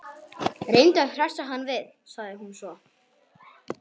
Reyndu að hressa hann við- sagði hún svo.